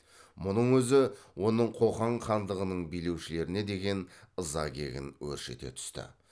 мұның өзі оның қоқан хандығының билеушілеріне деген ыза кегін өршіте түсті